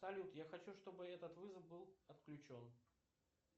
салют я хочу чтобы этот вызов был отключен